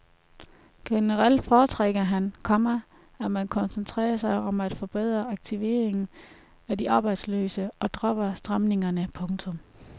Generelt foretrækker han, komma at man koncentrerer sig om at forbedre aktiveringen af de arbejdsløse og dropper stramningerne. punktum